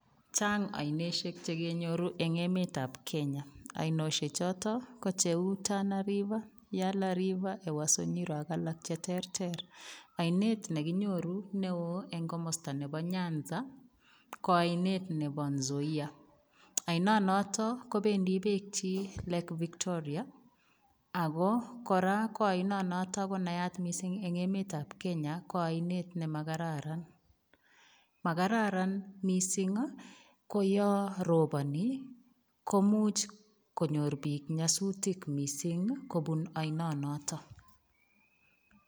Chang oinoshek chekenyoru eng emetab kenya. Oineshechotok ko cheu tana river, yala river ewaso nyiro ak alak cheterter. Oinet nekinyoru neo eng nyanza ko oinet nebo nzoia. Oinonotok kobendi beekchi lake victoria. ako oinonotok ko nayat mising eng emetabkenya kele makararan, Makararan mising koyo roponi komuch konyor piik nyasutik mising kopun oinonotak.